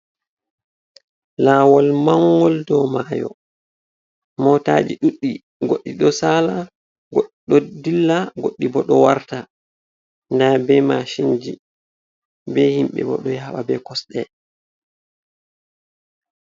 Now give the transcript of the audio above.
Lawol mangol dow mayo motaji ɗuɗɗi goɗɗi ɗo sala goɗɗi ɗo dilla goɗɗi bo ɗo warta nda be mashinji be himɓebo ɗo yawa be kosɗe.